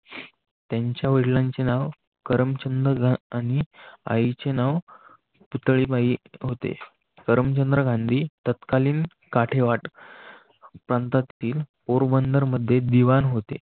त्यांच्या वडिलांचे नाव करमचंद आणि आईचे नाव पितळी बाई होते. धर्म चंद्र गांधी तत्कालीन काठेवाट प्रांतातील पोरबंदर मध्ये दिवाण होते.